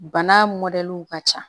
Bana mɔdɛliw ka ca